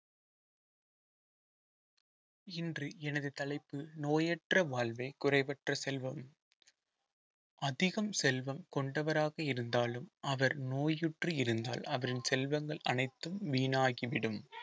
இன்று எனது தலைப்பு நோயற்ற வாழ்வே குறைவற்ற செல்வம் அதிகம் செல்வம் கொண்டவராக இருந்தாலும் அவர் நோயுற்று இருந்தால் அவரின் செல்வங்கள் அனைத்தும் வீணாகிவிடும்